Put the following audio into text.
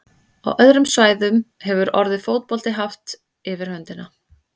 Á öðrum svæðum hefur orðið fótbolti haft yfirhöndina.